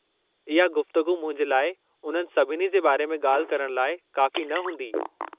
इहा गुफ़्तगू मुंहिंजे लाइ उन्हनि सभिनी जे बारे में ॻाल्हि करणु लाइ काफ़ी न हूंदी।